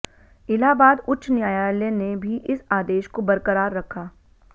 इलाहाबाद उच्च न्यायालय ने भी इस आदेश को बरकरार रखा